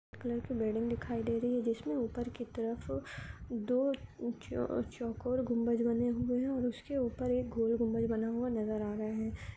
Colour की building दिखाई दे रही है जिसमे ऊपर की तरफ दो च-चौकोर गुंबज और उसके ऊपर एक गोल गुंबज बना हुआ नजर आ रहा है।